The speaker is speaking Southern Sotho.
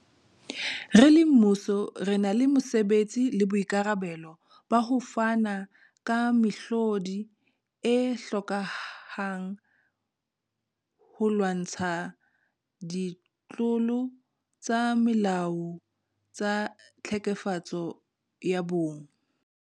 Re le mmuso, re na le mosebetsi le boikarabelo ba ho fana ka mehlodi e hlokehang holwantshwa ditlolo tsa molao tsa tlhekefetso ya bong.